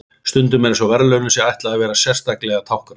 Stundum er eins og verðlaununum sé ætlað að vera sérstaklega táknræn.